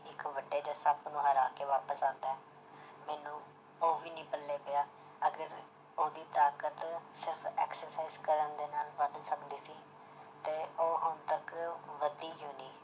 ਇੱਕ ਵੱਡੇ ਜਿਹੇ ਸੱਪ ਨੂੰ ਹਰਾ ਕੇ ਵਾਪਸ ਆਉਂਦਾ ਹੈ ਮੈਨੂੰ ਉਹ ਵੀ ਨੀ ਪੱਲੇ ਪਿਆ ਅਗਰ ਉਹਦੀ ਤਾਕਤ ਸਿਰਫ਼ exercise ਕਰਨ ਦੇ ਨਾਲ ਵੱਧ ਸਕਦੀ ਸੀ ਤੇ ਉਹ ਹੁਣ ਤੱਕ ਵਧੀ ਕਿਉਂ ਨੀ